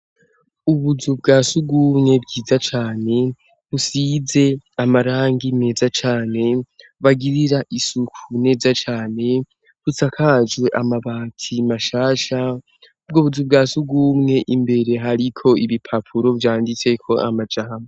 Ubuzu bwa sugumwe bwiza cane busize amarangi meza cane bagirira isuku neza cane busakajwe amabati mashasha ubwo buzu bwa sugumwe imbere hariko ibipapuro vyanditseko amajambo.